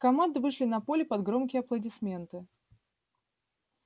команды вышли на поле под громкие аплодисменты